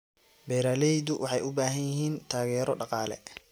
Beeraleydu waxay u baahan yihiin taageero dhaqaale.